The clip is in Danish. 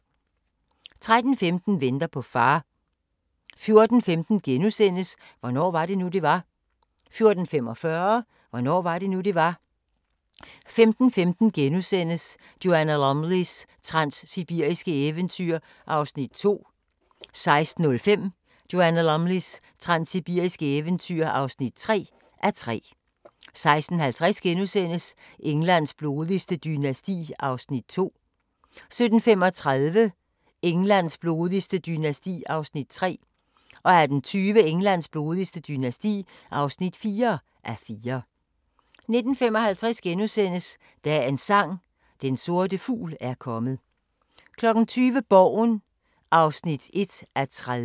13:15: Venter på far 14:15: Hvornår var det nu, det var? * 14:45: Hvornår var det nu det var 15:15: Joanna Lumleys transsibiriske eventyr (2:3)* 16:05: Joanna Lumleys transsibiriske eventyr (3:3) 16:50: Englands blodigste dynasti (2:4)* 17:35: Englands blodigste dynasti (3:4) 18:20: Englands blodigste dynasti (4:4) 19:55: Dagens Sang: Den sorte fugl er kommet * 20:00: Borgen (1:30)